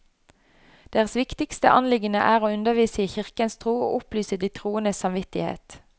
Deres viktigste anliggende er å undervise i kirkens tro og opplyse de troendes samvittighet.